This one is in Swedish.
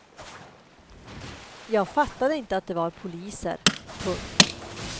Jag fattade inte att det var poliser. punkt